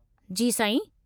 जी साईं।